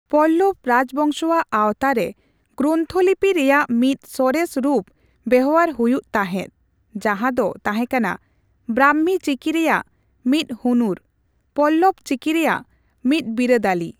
ᱯᱚᱞᱞᱚᱵᱽ ᱨᱟᱡᱽ ᱵᱚᱝᱥᱚᱣᱟᱜ ᱟᱣᱛᱟ ᱨᱮ, ᱜᱨᱚᱱᱛᱷᱚ ᱞᱤᱯᱤ ᱨᱮᱭᱟᱜ ᱢᱤᱫ ᱥᱚᱨᱮᱥ ᱨᱩᱯ ᱵᱮᱣᱦᱟᱨ ᱦᱩᱭᱩᱜ ᱛᱟᱦᱮᱸᱫ, ᱡᱟᱦᱟᱸ ᱫᱚ ᱛᱟᱦᱮᱸᱠᱟᱱᱟ ᱵᱨᱟᱢᱢᱤ ᱪᱤᱠᱤ ᱨᱮᱭᱟᱜ ᱢᱤᱫ ᱦᱩᱱᱩᱨ, ᱯᱚᱞᱞᱚᱵᱽ ᱪᱤᱠᱤ ᱨᱮᱭᱟᱜ ᱢᱤᱫ ᱵᱤᱨᱟᱹᱫᱟᱹᱞᱤ ᱾